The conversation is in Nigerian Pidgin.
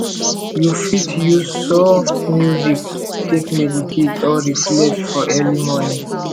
you fit use soft music take meditate or reflect for early morning